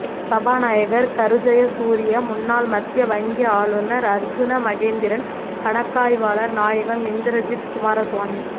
சபாநாயகர் கருஜயசூரிய முன்னாள் மத்திய வங்கி ஆளுநர் அர்ஜுன மகேந்திரன் கணக்காய்வாளர் நாயகம் இந்திரஜித் குமாரசுவாமி